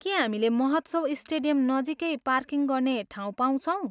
के हामीले महोत्सव स्टेडियम नजिकै पार्किङ गर्ने ठाउँ पाउँछौँ?